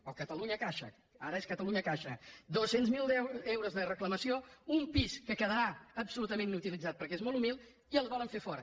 o catalunyacaixa ara és catalunyacaixa dos cents miler euros de reclamació un pis que quedarà absolutament inutilitzat perquè és molt humil i el volen fer fora